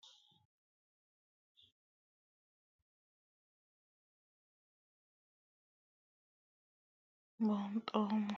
Tinimisilete aana leeltani noonketi beebi dayipere qaaquleho horonsinaniha ikanna qaaquullu shimaadhaki gede shumaare uduunesi unawoyiki gede horonsinanite yine hendanita buuxomo